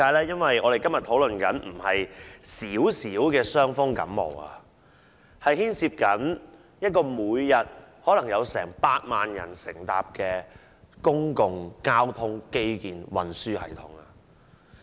因為我們今天討論的並非小小的傷風感冒，而是牽涉每天可能有近百萬人乘坐的公共交通基建運輸系統。